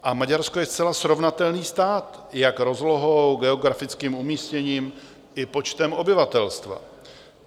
A Maďarsko je zcela srovnatelný stát jak rozlohou, geografickým umístěním i počtem obyvatelstva.